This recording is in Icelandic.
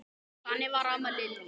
Þannig var amma Lillý.